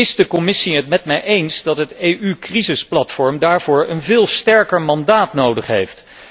Is de Commissie het met mij eens dat het EU crisisplatform een veel sterker mandaat nodig heeft?